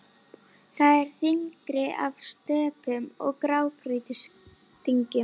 Þar er þyrping af stöpum og grágrýtisdyngjum.